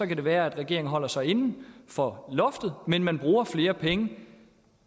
kan det være at regeringen holder sig inden for loftet men man bruger flere penge